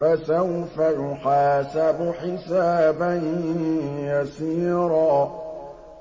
فَسَوْفَ يُحَاسَبُ حِسَابًا يَسِيرًا